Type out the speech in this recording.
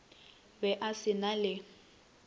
be o se na le